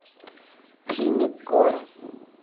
фильмик горы